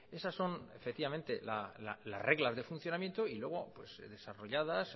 esas son efectivamente las reglas de funcionamiento y luego desarrolladas